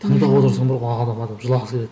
тыңдап отырсаң бар ғой адам жылағысы келеді